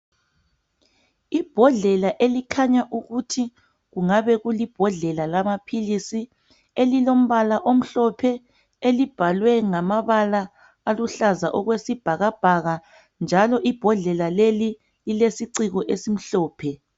Ibhodlela elikhanya ukuthi kungabe kulibhodlela lamaphilisi elilombala omhlophe elibhalwe ngamabala aluhlaza okwesibhakabhaka njalo ibhodlela leli lilesiciko esimhlophe.